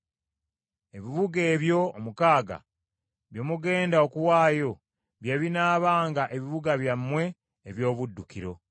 Ebibuga ebyo omukaaga bye mugenda okuwaayo bye binaabanga ebibuga byammwe eby’obuddukiro.